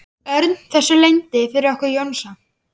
Örn þessu leyndu fyrir okkur Jónsa?